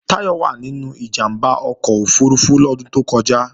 Táyọ̀ wà nínú ìjàmbá ọkọ̀ òfurufú lọ́dún tó kọjá